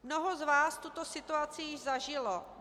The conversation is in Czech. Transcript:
Mnoho z vás tuto situaci již zažilo.